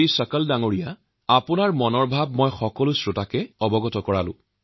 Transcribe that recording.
চকল জী আপোনাৰ চিন্তাধাৰাক মই সকলো শ্ৰোতা বন্ধুৰ ওচৰলৈ প্ৰেৰণ কৰিছো